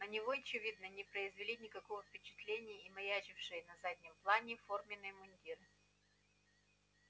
на него очевидно не произвели никакого впечатления и маячившие на заднем плане форменные мундиры